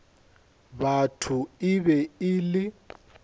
batho e be e le